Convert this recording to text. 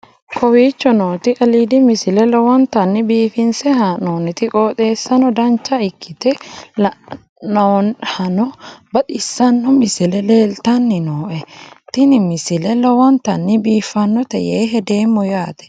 kowicho nooti aliidi misile lowonta biifinse haa'noonniti qooxeessano dancha ikkite la'annohano baxissanno misile leeltanni nooe ini misile lowonta biifffinnote yee hedeemmo yaate